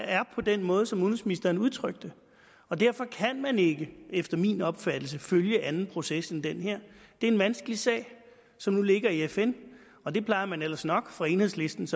er på den måde som udenrigsministeren udtrykte og derfor kan man ikke efter min opfattelse følge en anden proces end den her det er en vanskelig sag som nu ligger i fn og det plejer man jo ellers nok fra enhedslistens